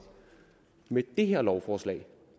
med det her lovforslag